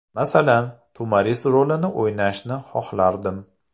Masalan, To‘maris rolini o‘ynashni xohlardim.